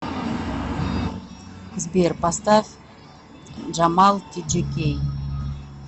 сбер поставь джамал тиджикей